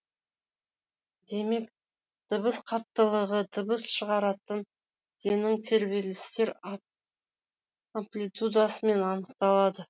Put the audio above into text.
демек дыбыс қаттылығы дыбыс шығаратын дененің тербелістер амплитудасымен анықталады